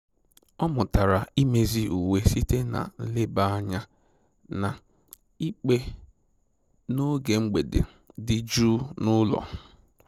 Ọ mụtara imezi uwe site na nleba anya na ikpe n'oge mgbede dị jụụ n'ụlọ